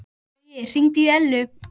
Baui, hringdu í Ellu.